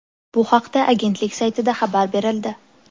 Bu haqda agentlik saytida xabar berildi .